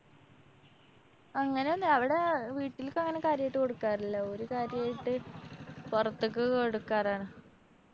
അങ്ങനോന്ന് അവിടെ വീട്ടില്‍ക്കങ്ങനെ കാര്യായിട്ട് കൊടുക്കാറില്ല. ഓര് കാര്യായിട്ട് പൊറത്ത്ക്ക് കൊടുക്കാറാണ്